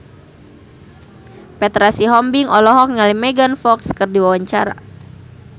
Petra Sihombing olohok ningali Megan Fox keur diwawancara